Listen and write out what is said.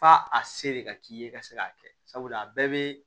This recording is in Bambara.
F'a a se de ka k'i ye ka se k'a kɛ sabula a bɛɛ bɛ